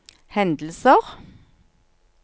hendelser